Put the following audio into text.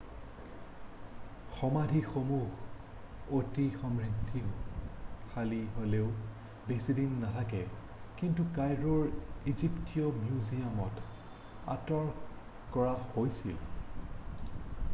সমাধিসমূহ অতি সমৃদ্ধিশালী হ'লেও বেছি দিন নাথাকে কিন্তু কাইৰোৰ ইজিপ্টীয় মিউজিয়ামত আঁতৰ কৰা হৈছিল